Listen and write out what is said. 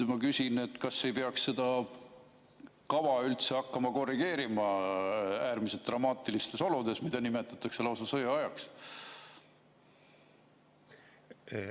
Kas ei peaks seda kava üldse hakkama korrigeerima, äärmiselt dramaatilistes oludes, mida nimetatakse lausa sõjaajaks?